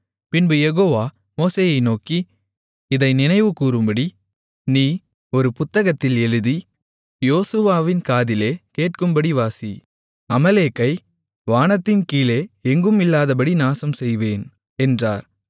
பின்பு யெகோவா மோசேயை நோக்கி இதை நினைவுகூரும்படி நீ ஒரு புத்தகத்தில் எழுதி யோசுவாவின் காதிலே கேட்கும்படி வாசி அமலேக்கை வானத்தின் கீழே எங்கும் இல்லாதபடி நாசம் செய்வேன் என்றார்